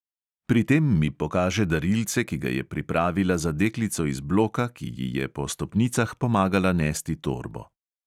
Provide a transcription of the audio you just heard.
Pri tem mi pokaže darilce, ki ga je pripravila za deklico iz bloka, ki ji je po stopnicah pomagala nesti torbo.